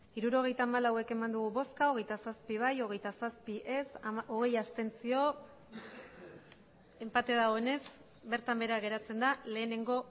hirurogeita hamalau bai hogeita zazpi ez hogeita zazpi abstentzioak hogei enpate dagoenez bertan behera geratzen da lehenengo